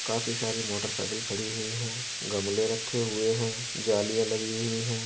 काफ़ी सारी मोटरसाइकिल खड़ी हुई हैं। गमले रखे हुए हैं। जालियाँ लगी हुई है।